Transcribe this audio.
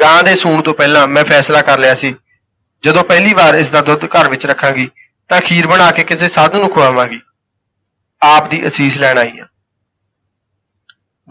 ਗਾਂ ਦੇ ਸੂਣ ਤੋਂ ਪਹਿਲਾਂ ਮੈਂ ਫੈਸਲਾ ਕਰ ਲਿਆ ਸੀ ਜਦੋਂ ਪਹਿਲੀ ਵਾਰ ਇਸ ਦਾ ਦੁੱਧ ਘਰ ਵਿਚ ਰੱਖਾਂਗੀ ਤਾਂ ਖੀਰ ਬਣਾ ਕੇ ਕਿਸੇ ਸਾਧੂ ਨੂੰ ਖੁਆਵਾਂਗੀ। ਆਪ ਦੀ ਅਸੀਸ ਲੈਣ ਆਈ ਹਾਂ।